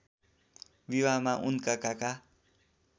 विवाहमा उनका काका